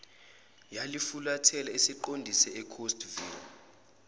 yalifulathela isiqonde escottsville